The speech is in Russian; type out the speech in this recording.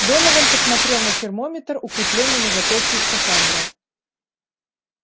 донован посмотрел на термометр укреплённый на запястье скафандра